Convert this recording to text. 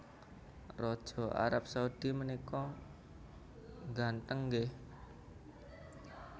Raja Arab Saudi menika ngganteng nggih